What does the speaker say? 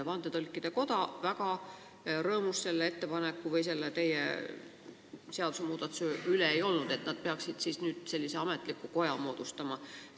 Vandetõlkide Koda ei olnud väga rõõmus selle seadusmuudatuse üle, et nad peaksid nüüd sellise ametliku koja moodustama.